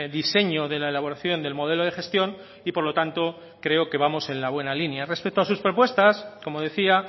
diseño de la elaboración del modelo de gestión y por lo tanto creo que vamos en la buena línea respecto a sus propuestas como decía